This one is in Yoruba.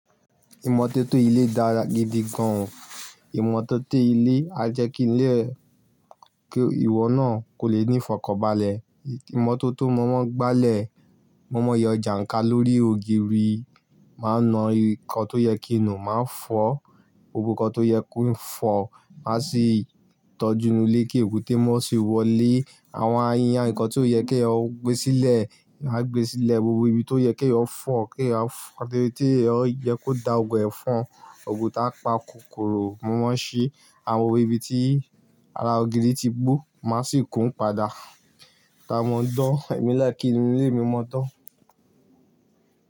Ìmọ́tótó ilé dára gidi gan. Ìmọ́tótó ilé á jẹ́ kí ilé, kí ìwọ náà kò lè ní ìfọ̀kọbalẹ̀. Ìmọ́tótó mọ́wọ́gbálẹ̀ mọ́mọ́yọ jàǹkà lórí ògiri máa ń na nnkan tó yẹ kí n ò máa fọ̀, gbogbo nkan tó yẹ kó fọ̀ máa sì tọ́jú inú ilé kí èébú té mọ́ sì wọlé. Àwọn aiya, nnkan tí ó yẹ kí èèyàn ó gbé sílẹ̀ a gbé sílẹ̀, gbogbo ibi tó yẹ kí ó fọ̀ kí a fọ̀, àti tí ó yẹ kó da ògùn ẹ̀fọn, ògùn táa pa kòkòrò mọ́wọ́ sí àwọn ibi tí ara ògiri ti gbó má sì kún padà. Ka mọ́ dán, èmi láì kí inú ilé mi mọ́tọ́